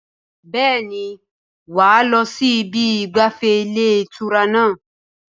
Bẹ́ẹ̀ni, wà á lọ sí ibi ìgbafẹ́ ilé ìtura náà